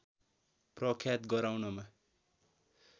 प्रख्यात गराउनमा